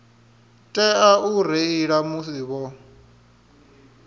tea u reila musi vho